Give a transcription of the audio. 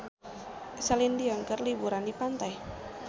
Celine Dion keur liburan di pantai